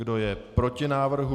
Kdo je proti návrhu?